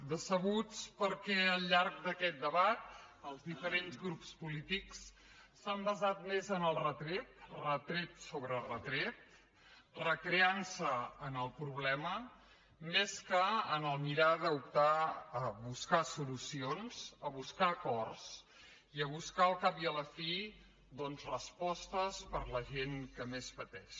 decebuts perquè al llarg d’aquest debat els diferents grups polítics s’han basat més en els retrets retret sobre retret recreant se en el problema més que a mirar d’optar a buscar solucions a buscar acords i a buscar al cap i a la fi doncs respostes per a la gent que més pateix